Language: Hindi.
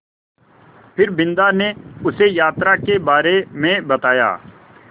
फिर बिन्दा ने उसे यात्रा के बारे में बताया